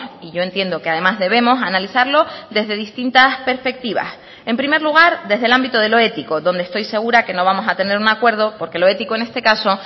y yo entiendo que además debemos analizarlo desde distintas perspectivas en primer lugar desde el ámbito de lo ético donde estoy segura que no vamos a tener un acuerdo porque lo ético en este caso